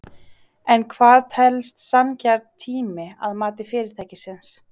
En hvað telst sanngjarn tími að mati fyrirtækisins?